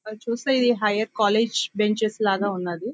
అది చూస్తే ఇది హయ్యర్ కాలేజీ బెంచెస్ లాగా ఉన్నది.